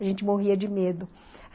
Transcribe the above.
A gente morria de medo.